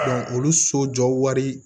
olu so jɔ wari